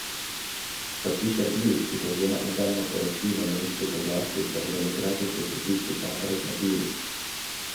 Kot piše Bild, ki povzema interno poročilo nemških oblasti, se bodo migracijski pritiski še naprej krepili.